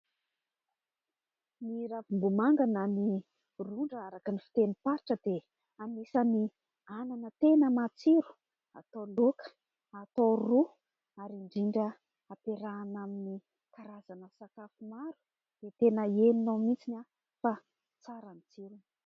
Ny ravimbomanga na "ny rondra" araka ny fitenim-paritra dia anisan'ny anana tena matsiro, atao laoka, atao ro ary indrindra ampiarahana amin'ny karazana sakafo maro dia tena henonao mihitsy fa tsara ny tsirony.